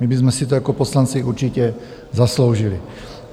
My bychom si to jako poslanci určitě zasloužili.